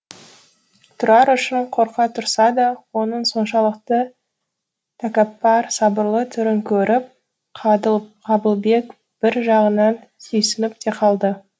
тұрар үшін қорқа тұрса да оның соншалықты тәкаппар сабырлы түрін көріп қабылбек бір жағынан сүйсініп те қалды